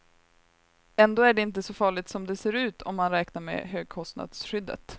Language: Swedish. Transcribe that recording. Ändå är det inte så farligt som det ser ut om man räknar med högkostnadsskyddet.